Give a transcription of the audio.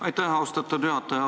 Aitäh, austatud juhataja!